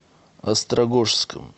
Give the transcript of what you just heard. острогожском